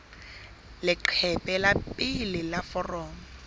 leqephe la pele la foromo